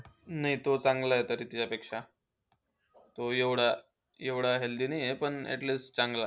नाही, तो चांगला आहे तरी तिच्यापेक्षा. तो एवढा एवढा healthy नाही आहे. पण at least चांगला आहे.